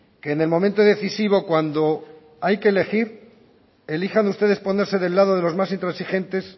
que en el momento decisivo cuando hay que elegir elijan ustedes ponerse del lado de los más intransigentes